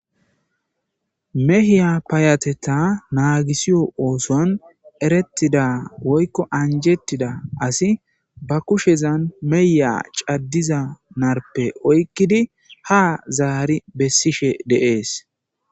mehiya payateta naagisiyo ooson erettida woykko anjetida asi ba kushezan meyya caddiza narpe oykkidi ha zaari bessishe deees